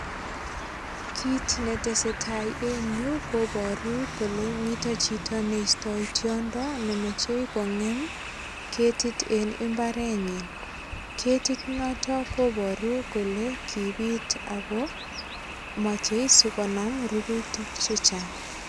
Kit nesetai eng yu koparu kole mito chito ne istoi tiondo ne moche kongem ketit en imbarenyin. Ketit noto kobaru kole kipit ago machei sigonam rurutik che chang.